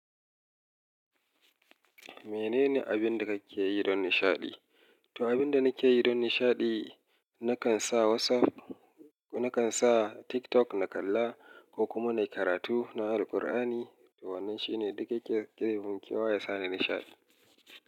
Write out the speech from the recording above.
Mene ne abin da kake yi don nishaɗi? To, abin da nake yi don nishaɗi, nakan sa WhatsApp, nakan sa TikTok na kalla ko kuma na yi karatu, na Al-qur'ani. To wannan shine duk yake ebeminkewa yasa ni nishaɗi.